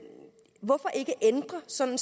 sådan